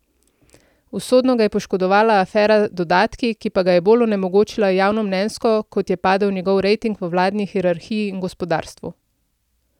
Usodno ga je poškodovala afera dodatki, ki pa ga je bolj onemogočila javnomnenjsko, kot je padel njegov rejting v vladni hierarhiji in gospodarstvu.